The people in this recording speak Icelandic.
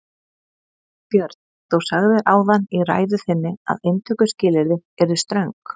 Björn: Þú sagðir áðan í ræðu þinni að inntökuskilyrði yrðu ströng?